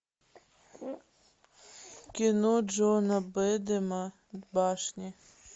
кино джона бэдэма башни